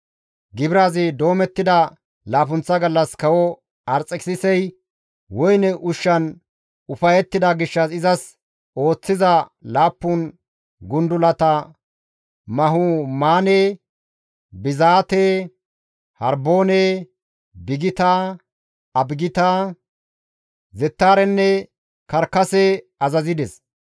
Gibirazi doomettida laappunththa gallas, kawo Arxekisisi woyne ushshan ufayettida gishshas izas ooththiza laappun gundulata Mahumaane, Bizaate, Harboone, Bigita, Abagita, Zettaarenne Karkase azazides.